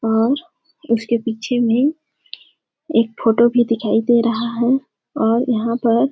और उसके पीछे में एक फोटो भी दिखाई दे रहा है और यहाँ पर --